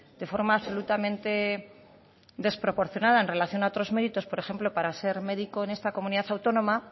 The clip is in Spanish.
de forma absolutamente desproporcionada en relación a otros méritos por ejemplo para ser médico en esta comunidad autónoma